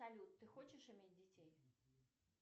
салют ты хочешь иметь детей